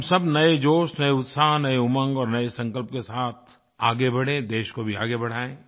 हम सब नए जोश नए उत्साह नए उमंग और नए संकल्प के साथ आगे बढ़ें देश को भी आगे बढाएँ